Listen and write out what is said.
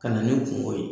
Ka na ni kungo ye